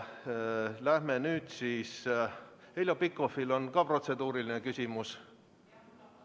Heljo Pikhofil on samuti protseduuriline küsimus.